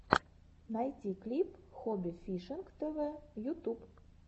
найти клип хобби фишинг тв ютуб